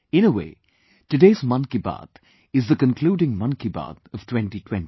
In a way, today's Mann Ki Baat is the concluding Mann Ki Baat of 2020